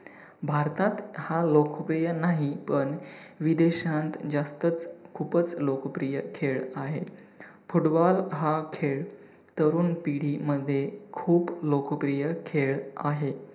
भारतात हा लोकप्रिय नाही पण विदेशात जास्तच खूपच लोकप्रिय खेळ आहे. football हा खेळ तरुण पिढीमध्ये खूप लोकप्रिय खेळ आहे.